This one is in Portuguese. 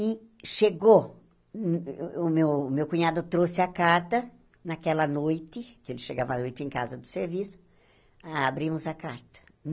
E chegou, o o meu meu cunhado trouxe a carta naquela noite, que ele chegava à noite em casa do serviço, abrimos a carta.